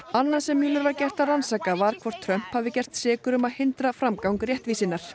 annað sem Mueller var gert að rannsaka var hvort Trump hafi gerst sekur um að hindra framgang réttvísinnar